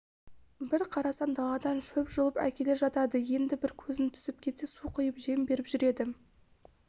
бір қарасаң даладан шөп жұлып әкеле жатады енді бір көзің түсіп кетсе су құйып жем беріп жүреді